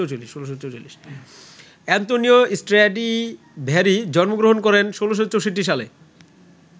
Antonio Stradivari জন্ম গ্রহণ করেন ১৬৪৪ সালে।